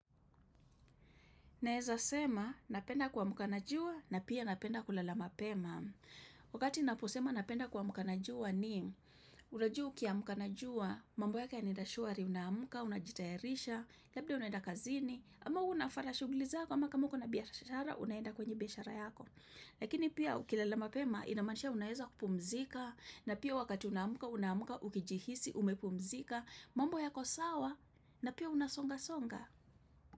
Naeza sema, napenda kuamka na jua na pia napenda kulala mapema. Wakati naposema napenda kuamkana jua ni, unajua ukiamka na jua, mambo yake yanaenda shwari unamka, unajitairisha, labda unaenda kazini, ama unafara shuglizako, ama kama mkana biashara, unenda kwenye biashara yako. Lakini pia ukilala mapema, inamaanisha unaeza kupumzika, na pia wakati unaamka, unamka, ukijihisi, umepumzika, mambo ya kosawa, na pia unasonga songa.